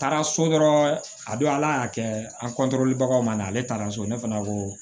Taara so dɔrɔn a don ala y'a kɛ an baganw ma ale taara so ne fana ko